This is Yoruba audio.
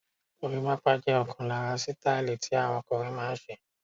Gorimapa jẹ ọkan lára sítáílì tí àwọn ọkùnrin máa ń ṣe.